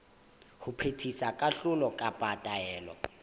ho phethisa kahlolo kapa taelo